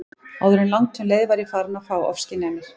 Áður en langt um leið var ég farin að fá ofskynjanir.